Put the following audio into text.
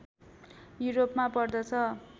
युरोपमा पर्दछ